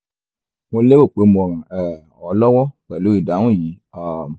mo lérò pe mo ràn um ọ lọwọ pẹlu idahun yii um